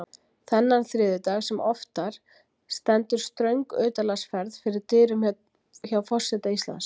Þennan þriðjudag sem oftar stendur ströng utanlandsferð fyrir dyrum hjá forseta Íslands.